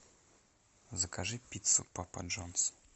закажи пиццу папа джонс